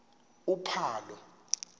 uphalo